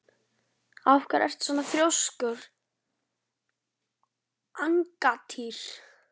Af hverju ertu svona þrjóskur, Angantýr?